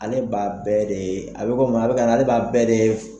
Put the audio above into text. Ale b'a bɛɛ de ,a bi ale ba bɛɛ de